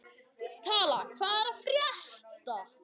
Tala, hvað er að frétta?